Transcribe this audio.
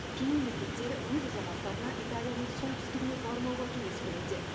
кей мемлекеттер өз азаматтарына италияның солтүстігіне бармауға кеңес беруде